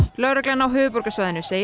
lögreglan á höfuðborgarsvæðinu segir